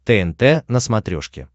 тнт на смотрешке